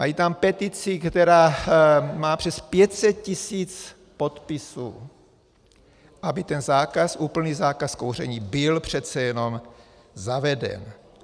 Mají tam petici, která má přes 500 tisíc podpisů, aby ten zákaz, úplný zákaz kouření byl přece jenom zaveden.